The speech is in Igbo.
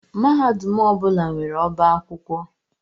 Mahadum ọ bụla nwere ọbá akwụkwọ